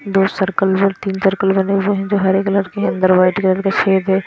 दो सर्कल में तीन सर्कल बने हुए हैं जो हरे कलर हैं अंदर वाइट कलर के छेद है।